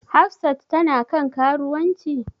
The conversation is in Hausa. Hafsat tana kan karuwanci?